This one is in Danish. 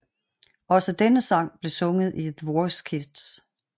Også denne sang blev sunget i The Voice Kids